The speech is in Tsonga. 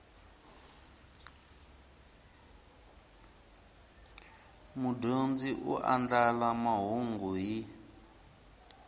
mudyondzi u andlala mahungu hi